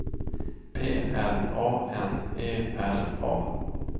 P L A N E R A